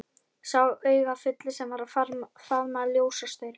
Sá augafulli sem var að faðma ljósastaurinn.